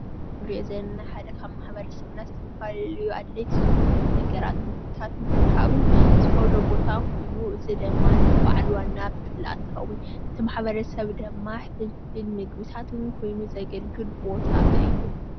እዚ እንሪኦ ዘለና ሓደ ካብ ማሕበረሰብና ዝተፈላለዩ ኣድለይቲ ዝኮኑ ነገራት ምግብታት ንምርካብን ዝኮነ ቦታ ኮይኑ እዚ ድማ ነቲ በዓል ዋና ፍልፍል ኣታዊ እቲ ማሕበረሰብ ድማ ፍልፍል ምግብታቱ ኮይኑ ዘገልግል ቦታ እዩ፡፡